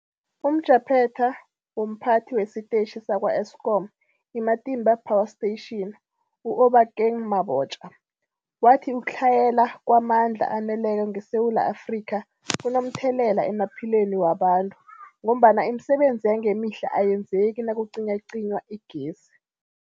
UmJaphethe womPhathi wesiTetjhi sakwa-Eskom i-Matimba Power Station u-Obakeng Mabotja wathi ukutlhayela kwamandla aneleko ngeSewula Afrika kunomthelela emaphilweni wabantu ngombana imisebenzi yangemihla ayenzeki nakucinywacinywa igezi.